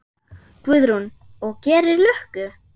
Guðrún: Og gerir lukku?